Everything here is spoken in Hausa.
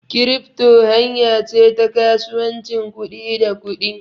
Kirifto hanya ce ta kasuwancin kuɗi da kuɗi.